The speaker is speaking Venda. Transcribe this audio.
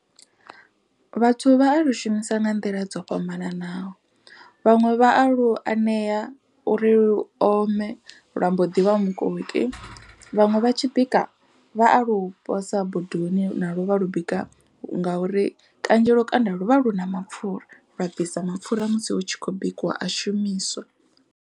Vhathu vha alu shumisa nga nḓila dzo fhambananaho. Vhaṅwe vha alu anea uri lu ome lwa mbo ḓi vha mukoki. Vhaṅwe vha tshi tshi bika vha a lu posa bodoni na lwo vha lu bika ngauri kanzhi lukanda lu vha lu na mapfura. Lwa bvisa mapfura musi hu tshi khou bikiwa a shumiswa.